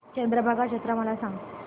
चंद्रभागा जत्रा मला सांग